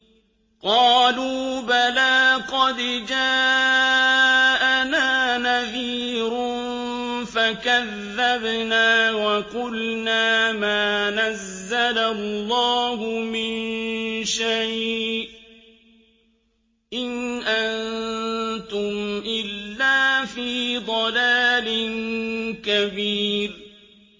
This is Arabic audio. قَالُوا بَلَىٰ قَدْ جَاءَنَا نَذِيرٌ فَكَذَّبْنَا وَقُلْنَا مَا نَزَّلَ اللَّهُ مِن شَيْءٍ إِنْ أَنتُمْ إِلَّا فِي ضَلَالٍ كَبِيرٍ